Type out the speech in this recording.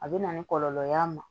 A bɛ na ni kɔlɔlɔ y'a ma